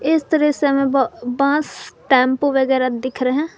इस तरह से हमें ब बांस टेंपू वगैरह हमें दिख रहे हैं।